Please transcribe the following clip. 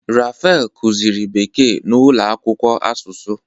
Raphael kuziri bekee na ulo akwukwo asusu.